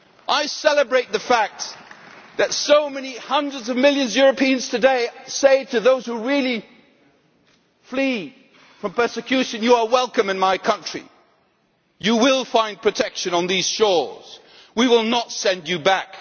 I celebrate the fact that so many hundreds of millions of Europeans today are saying to those genuinely fleeing from persecution, You are welcome in my country, you will find protection on these shores, we will not send you back.'